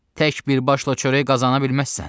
Tək bir başla çörək qazana bilməzsən.